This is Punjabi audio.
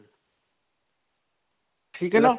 ਠੀਕ ਹੈ ਨਾ?